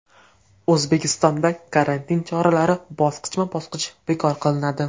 O‘zbekistonda karantin choralari bosqichma-bosqich bekor qilinadi.